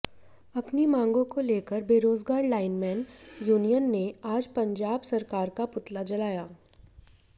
अपनी मांगों को लेकर बेरोजगार लाइनमैन यूनियन ने आज पंजाब सरकार का पुतला जलाया